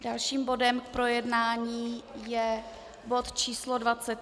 Dalším bodem k projednání je bod číslo